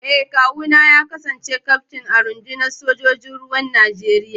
Eh, kawuna ya kasance kyaftin a rundunar sojojin ruwan Najeriya